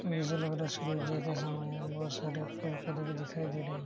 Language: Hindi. जैसे लग रहा है सूर्योदय का समय है बहुत सारे पेड़ पौधे भी दिखाई दे रहे हैं।